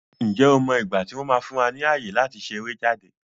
Ǹjẹ́ o mọ igbati wọn máa fún wa ní ayé láti ṣeré jáde?